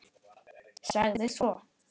Sagði svo